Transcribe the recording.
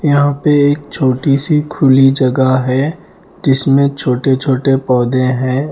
यहाँ पे एक छोटी-सी खुली जगह है जिसमें छोटे-छोटे पौधे हैं।